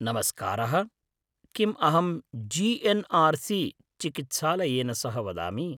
नमस्कारः! किम् अहं जी.एन्.आर्.सी. चिकित्सालयेन सह वदामि?